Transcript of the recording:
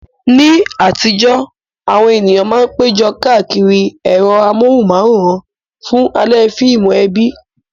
Ní àtijọ́, àwọn ènìyàn máa ń péjọ káàkiri ẹ̀rọ amóhùnmáwòrán fún alẹ́ fíìmù ẹbí.